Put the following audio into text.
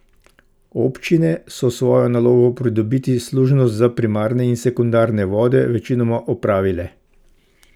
Občine so svojo nalogo pridobiti služnosti za primarne in sekundarne vode večinoma opravile.